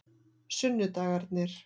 sunnudagarnir